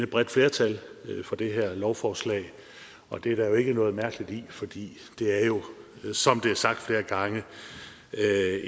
bredt flertal for det her lovforslag og det er der jo ikke noget mærkeligt i fordi det som det er sagt flere gange